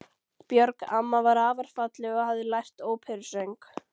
Björg amma var afar falleg og hafði lært óperusöng.